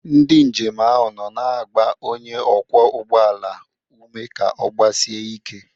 Ndị njem ahụ nọ na-agba onye ọkwọ ụgbọala ume ka ọ gbasie ike.